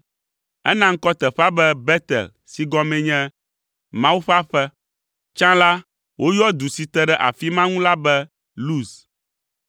Ena ŋkɔ teƒea be Betel si gɔmee nye “Mawu ƒe Aƒe.” Tsã la, woyɔ du si te ɖe afi ma ŋu la be Luz.